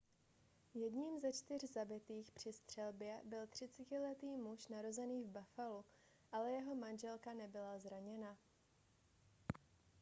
jedním ze čtyř zabitých při střelbě byl 30letý muž narozený v buffalu ale jeho manželka nebyla zraněna